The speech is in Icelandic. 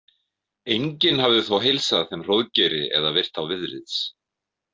Enginn hafði þó heilsað þeim Hróðgeiri eða virt þá viðlits.